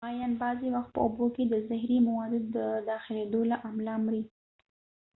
ماهیان بعضی وخت په اوبو کې د زهری موادو د داخلیدو له امله مري